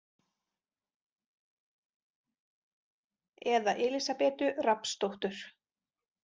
Eða Elísabetu Rafnsdóttur.